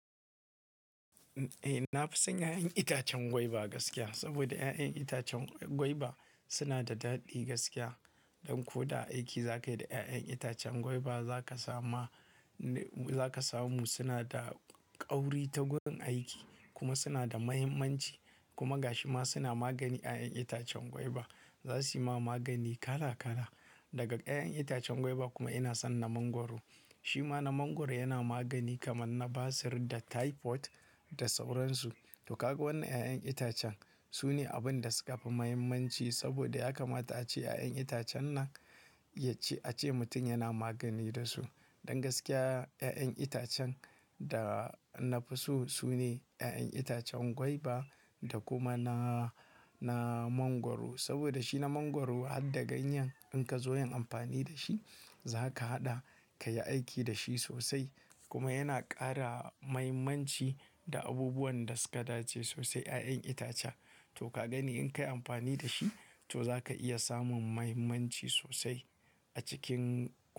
Eh, na fi son 'ya'yan itacen gwaiba gaskiya. Saboda 'ya'yan itacen gwaiba suna da daɗi gaskiya. Don ko da aiki za ka yi da 'ya'yan itacen gwaiba, za ka samu suna da ƙauri ta gun aiki kuma suna da mahimmanci. Kuma ga shi ma suna magani 'ya'yan itacen gwaiba. Za su yi ma magani kala kala daga 'ya'yan itacen gwaiba kuma ina son na mangwaro. Shi ma na mangwaro yana magani kamar na basir da typhoid da sauransu. To kaga wannan 'ya'yan itacen sune abun da suka fi mahimmanci saboda ya kamata ace 'ya'yan itacen nan ya ce ace mutum yana magani da su. Za su yi ma magani kala kala daga 'ya'yan itacen gwaiba kuma ina son na mangwaro. To kaga wannan 'ya'yan itacen sune abun da suka fi mahimmanci saboda ya kamata ace 'ya'yan itacen nan ya ce ace mutum yana magani da su. Don gaskiya 'ya'yan itacen da na fi so sune 'ya'yan itacen gwaiba da kuma na, na mangwaro.